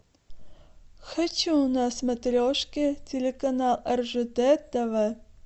хочу на смотрешке телеканал ржд тв